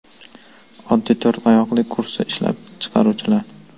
Oddiy to‘rt oyoqli kursi ishlab chiqaruvchilar.